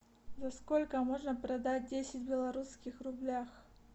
за сколько можно продать десять белорусских рублях